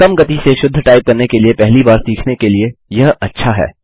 कम गति में शुद्ध टाइप करने के लिए पहली बार सीखने के लिए यह अच्छा है